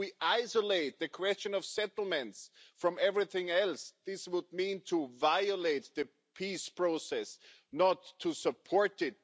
If we isolate the question of settlements from everything else, this would mean violating the peace process, not to support it.